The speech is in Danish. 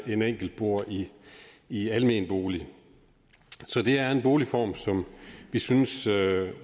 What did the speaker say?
en enkelt bor i i almen bolig så det er en boligform som vi synes